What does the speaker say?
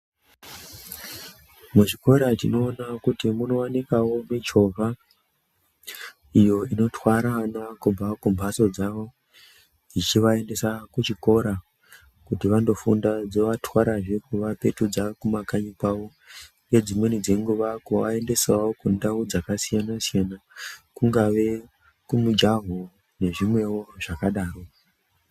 Muzvikora tinoona kuti munowanikawo michovha iyo inotwara ana kubva kumbatso dzawo dzichivaendesa kuchikora kuti vandofunda dzovatwarazve kuvapedza kumakanyi kwavo ngedzimweni dzenguwa kuvaendesawo kundau dzakasiyana siyana kungave kumujaho nezvimwewo zvakadaro.